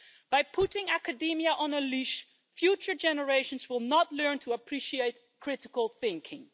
It has put academia on a leash, and future generations will not learn to appreciate critical thinking.